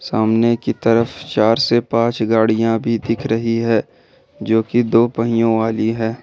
सामने की तरफ चार से पांच गाड़ियां भी दिख रही है जो कि दो पहियों वाली है।